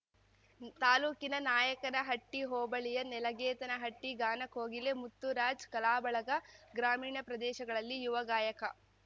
ತಾಲೂಕಿನ ನಾಯಕನಹಟ್ಟಿಹೋಬಳಿಯ ನೆಲಗೇತನಹಟ್ಟಿಗಾನಕೋಗಿಲೆ ಮುತ್ತುರಾಜ್‌ ಕಲಾ ಬಳಗ ಗ್ರಾಮೀಣ ಪ್ರದೇಶಗಳಲ್ಲಿ ಯುವ ಗಾಯಕ